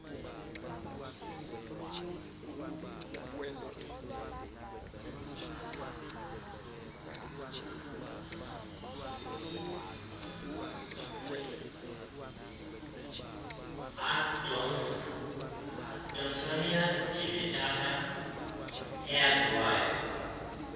adonsonia digitata eyaziwayo